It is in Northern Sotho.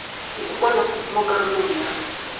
e ukangwego mo karolong ya